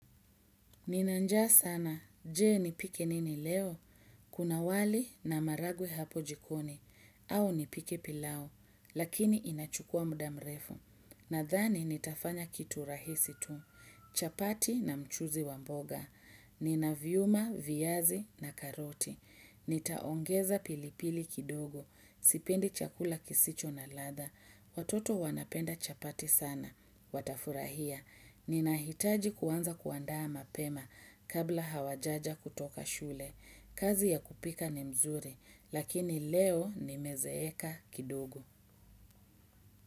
Nina njaa sana, jee nipike nini leo? Kuna wali na maharagwe hapo jikoni, au nipike pilau, lakini inachukua muda mrefu. Nadhani nitafanya kitu rahisi tu, chapati na mchuzi wa mboga, ninaviuma, vyazi na karoti. Nitaongeza pilipili kidogo, sipendi chakula kisicho na ladha, watoto wanapenda chapati sana, watafurahia. Ninahitaji kuanza kuandaa mapema kabla hawajaja kutoka shule. Kazi ya kupika ni mzuri, lakini leo nimezeeka kidogo.